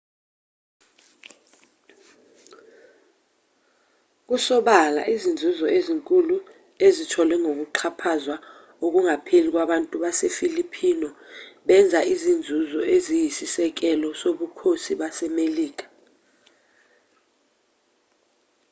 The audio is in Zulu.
kusobala izinzuzo ezinkulu ezitholwe ngokuxhaphazwa okungapheli kwabantu basefilipino benza izinzuzo eziyisisekelo zobukhosi basemelika